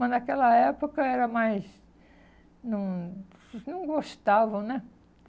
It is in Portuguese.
Mas, naquela época, era mais... Não não gostavam, né?